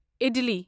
ادِلی